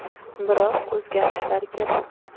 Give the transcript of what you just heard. Biroq, o‘zgarishlar kerak.